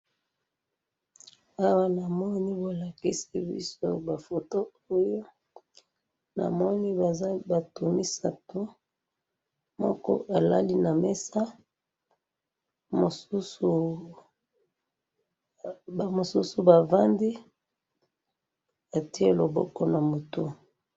Awa na moni batu misatu ba fandi moko alali na mesa ba mususu bafandi ,moko ati loboko na mutu.